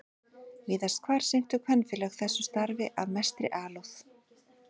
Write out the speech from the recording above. Víðast hvar sinntu kvenfélög þessu starfi af mestri alúð.